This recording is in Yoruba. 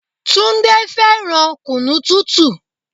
Túndé fẹ́ràn kunu tútù.